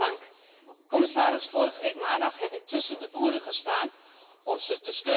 Vorige week maandag heb ik tussen de boeren gestaan om ze te steunen in hun protest.